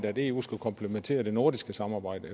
at eu skal komplementere det nordiske samarbejde